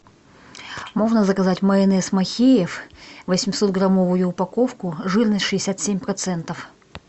можно заказать майонез махеев восемьсот граммовую упаковку жирность шестьдесят семь процентов